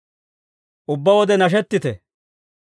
Ubbaa wode nashettite.